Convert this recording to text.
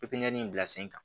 Pipiniyɛri bila sen kan